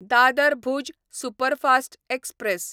Dadar Bhuj superfast express